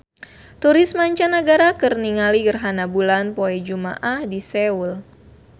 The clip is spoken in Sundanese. Turis mancanagara keur ningali gerhana bulan poe Jumaah di Seoul